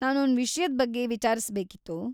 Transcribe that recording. ನಾನೊಂದ್ ವಿಷ್ಯದ್ ಬಗ್ಗೆ ವಿಚಾರ್ಸ್‌ಬೇಕಿತ್ತು.